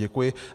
Děkuji.